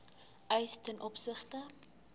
eis ten opsigte